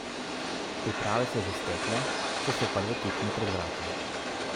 Priprave so že stekle, saj so prve tekme pred vrati.